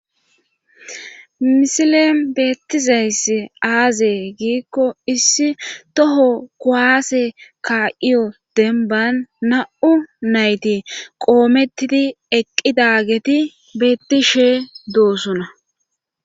misilen beettizayss aazee giikko issi toho kuwaase ka7iyo demban na7u nayti qoomettidi eqqidageti beettishe doosona